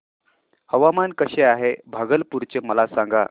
हवामान कसे आहे भागलपुर चे मला सांगा